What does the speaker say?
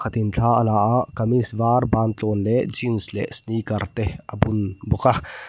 khatin thla a la a kamees var ban tluan leh jeans leh sneaker te a bun bawk a.